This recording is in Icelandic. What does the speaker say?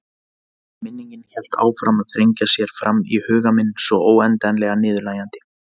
Minningin hélt áfram að þrengja sér fram í huga minn svo óendanlega niðurlægjandi.